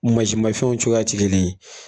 U mansin mafɛnw cogoya tɛ gelen ye.